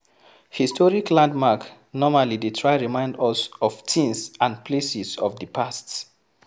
Historic landmark normally dey try remimd us of things and places of di past